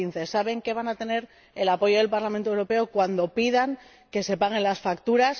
2015. Saben que van a tener el apoyo del Parlamento Europeo cuando pidan que se paguen las facturas.